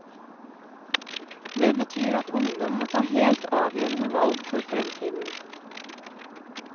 Det betyr at ungdom må ta helt avgjørende valg for fremtiden.